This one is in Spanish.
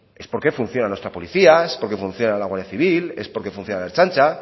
es porque funciona nuestra policía porque funciona la guardia civil es porque funciona la ertzaintza